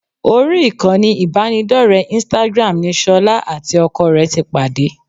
Orí ìkànnì ìbánidọ́rẹ̀ẹ́ instagram ni ṣọlá àti ọkọ rẹ̀ ti pàdé